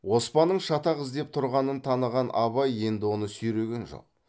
оспанның шатақ іздеп тұрғанын таныған абай енді оны сүйреген жоқ